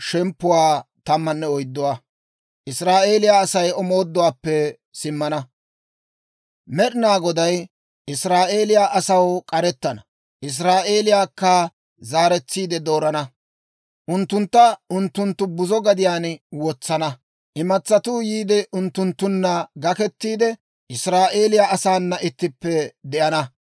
Med'inaa Goday Israa'eeliyaa asaw k'arettana; Israa'eeliyaakka zaaretsiide doorana. Unttuntta unttunttu buzo gadiyaan wotsana; imatsatuu yiide unttunttunna gakettiide, Israa'eeliyaa asaana ittippe de'ana.